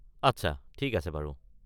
আচ্ছা, ঠিক আছে বাৰু।